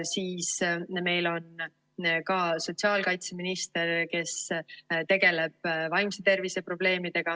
Siis meil on ka sotsiaalkaitseminister, kes tegeleb vaimse tervise probleemidega.